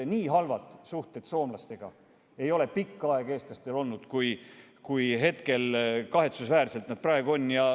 Nii halbu suhteid soomlastega ei ole eestlastel pikka aega olnud, kui need kahetsusväärselt praegu on.